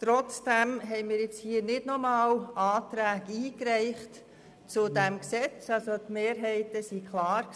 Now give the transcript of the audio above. Trotzdem reichten wir nicht erneut Anträge ein, die Mehrheiten waren klar.